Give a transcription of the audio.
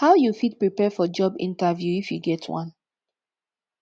how you fit prepare for job interview if you get one